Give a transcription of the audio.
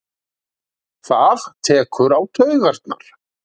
Það tekur á taugarnar.